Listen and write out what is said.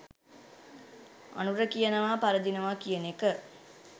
අනුර කියනව පරදිනව කියන එක